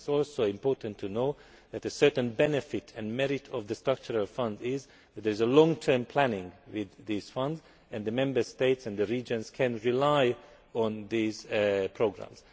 It is also important to know that a certain merit and benefit of the structural funds is that there is long term planning with this fund and that the Member States and the regions can rely on these programmes.